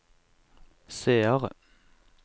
seere